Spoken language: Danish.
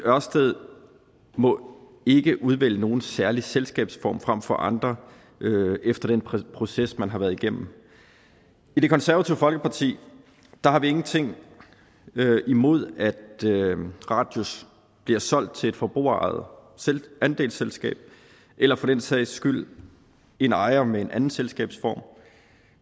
ørsted må ikke udvælge nogen særlig selskabsform frem for andre efter den proces man har været igennem i det konservative folkeparti har vi ingenting imod at radius bliver solgt til et forbrugerejet andelsselskab eller for den sags skyld en ejer med en anden selskabsform